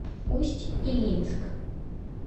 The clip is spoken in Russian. усть илимск